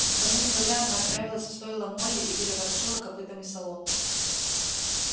никому не говоря она отправилась в стойло молли и переворошила копытами солому